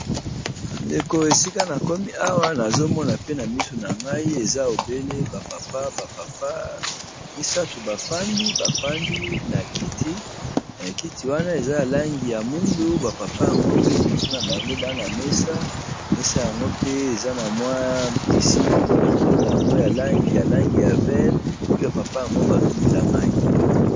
Ba ndeko esika na komi awa nazo mona pe na misu na ngai eza obele ba papa. Ba papa misato ba fandi ba fandi na kiti. Kiti wana eza ya langi ya mwindu. Ba papa yango pe liboso na bango baa na mesa. Mesa yango pe eza na mwa tisi moko likolo na yango ya langi ya langi ya vere. Pe ba papa yango bazo mela mai.